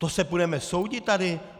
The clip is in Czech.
To se budeme soudit tady?